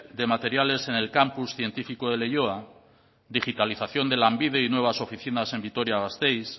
de materiales en el campus científico de leioa digitalización de lanbide y nuevas oficinas en vitoria gasteiz